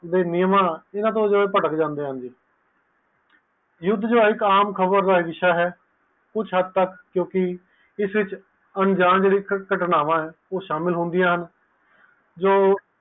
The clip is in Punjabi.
ਨਿਯਮ ਤੋਂ ਪਾਠਕ ਜਾਂਦੇ ਹਨ ਯੁੱਧ ਇਕ ਸੈਮ ਖ਼ਬਰ ਦਾ ਹਿਸਾ ਹੈ ਕੁਛ ਹੱਦ ਤੱਕ ਕਿਉਕਿ ਇਸ ਵਿਚ ਅਣਜਾਣ ਹਵਾਵਾਂ ਸ਼ਾਮਿਲ ਹੁੰਦੀਆਂ ਹਨ